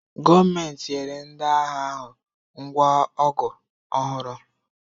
Gọọmenti nyere ndị agha ahụ ngwa ọgụ ọhụrụ